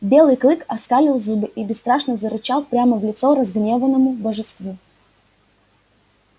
белый клык оскалил зубы и бесстрашно зарычал прямо в лицо разгневанному божеству